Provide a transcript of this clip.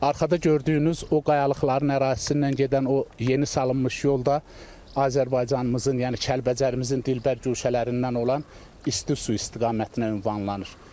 Arxada gördüyünüz o qayalıqların ərazisindən gedən o yeni salınmış yol da Azərbaycanımızın, yəni Kəlbəcərimizin dilbər güşələrindən olan isti su istiqamətinə ünvanlanır.